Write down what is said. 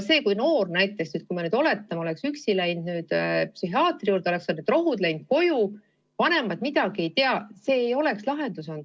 Kui me nüüd oletame, et see noor oleks üksi läinud psühhiaatri juurde, saanud rohud kätte, läinud koju, vanemad midagi ei tea, siis see ei oleks lahendus olnud.